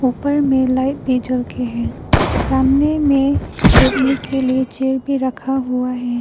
ऊपर में लाइट भी जल के है सामने में बैठने के लिए चेयर भी रखा हुआ है।